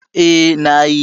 Eh, na yi.